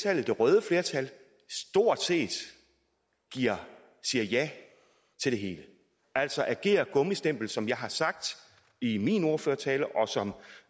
at det røde flertal stort set siger ja til det hele altså agerer gummistempel som jeg har sagt i min ordførertale og som